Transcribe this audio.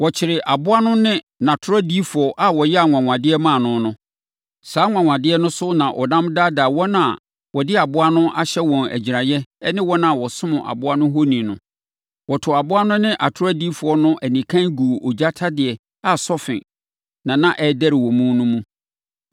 Wɔkyeree aboa no ne nʼatorɔdiyifoɔ a ɔyɛɛ anwanwadeɛ maa no no. Saa anwanwadeɛ no so na ɔnam daadaa wɔn a wɔde aboa no ahyɛ wɔn agyiraeɛ ne wɔn a wɔsom aboa no ohoni no. Wɔtoo aboa no ne atorɔdiyifoɔ no anikann guu ogya ɔtadeɛ a sɔfe na na ɛrederɛ wɔ mu no mu.